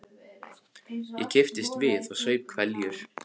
Ég kipptist við og saup hveljur.